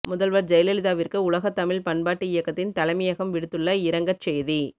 முதல்வர் ஜெயலலிதாவிற்கு உலகத் தமிழ் பண்பாட்டு இயக்கத்தின் தலைமையகம் விடுத்துள்ள இரங்கற் செய்தி